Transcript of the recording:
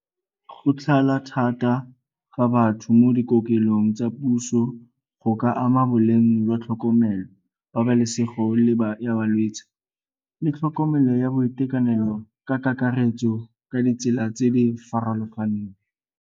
Go tlala thata ga batho mo dikokelong tsa puso go ka ama boleng jwa tlhokomelo, pabalesego ya balwetsi le tlhokomelo ya boitekanelo ka kakaretso ka ditsela tse di farologaneng.